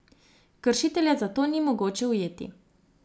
Kršitelja zato ni mogoče ujeti.